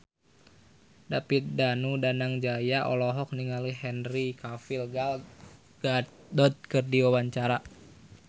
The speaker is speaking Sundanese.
David Danu Danangjaya olohok ningali Henry Cavill Gal Gadot keur diwawancara